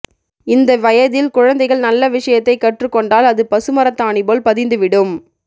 இந்த வயதில் குழந்தைகள் நல்ல விஷயத்தை கற்றுக்கொண்டால் அது பசுமரத்தாணி போல் பதிந்துவிடும்